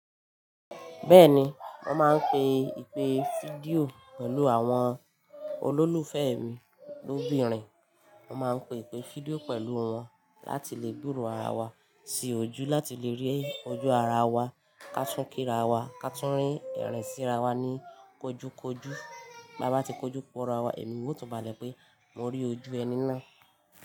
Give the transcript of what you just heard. Bẹ́ẹ̀ni, mo máa ń pe ìpè fídíò pẹ̀lú àwọn olólùfẹ́ mi lóbìnrin. Mo máa ń pe ìpè fídíò pẹ̀lú wọn láti lè gboro ara wa sí ojú, láti lè rí ojú ara wa, ká tún kí ra wa, ká tún rín ẹ̀rín síra wa ní kójúkójú. Ta bá ti kojú pọ̀ ara wa, ẹ̀mí wa o tún bàlẹ̀ pé mo rí ojú ẹni náà.